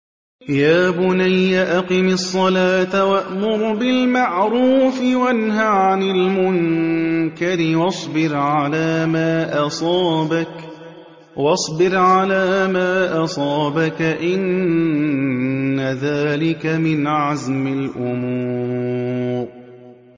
يَا بُنَيَّ أَقِمِ الصَّلَاةَ وَأْمُرْ بِالْمَعْرُوفِ وَانْهَ عَنِ الْمُنكَرِ وَاصْبِرْ عَلَىٰ مَا أَصَابَكَ ۖ إِنَّ ذَٰلِكَ مِنْ عَزْمِ الْأُمُورِ